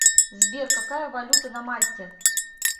сбер какая валюта на мальте